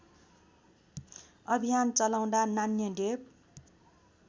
अभियान चलाउँदा नान्यदेव